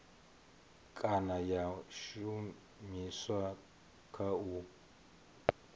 kana ya shumiswa kha u